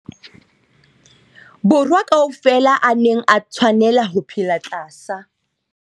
Borwa ka ofela a neng a tshwanela ho phela tlasa.